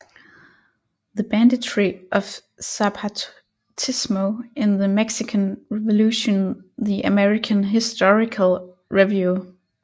The Banditry of Zapatismo in the Mexican Revolution The American Historical Review